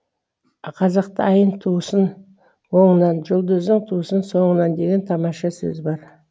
қазақта айың тусын оңынан жұлдызың тусын соңынан деген тамаша сөз бар